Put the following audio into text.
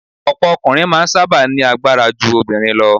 Ọ̀pọ̀ ọkùnrin máa ń sábà ní agbára ju obìnrin lọ